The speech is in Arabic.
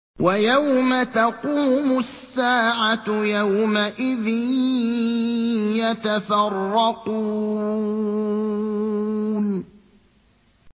وَيَوْمَ تَقُومُ السَّاعَةُ يَوْمَئِذٍ يَتَفَرَّقُونَ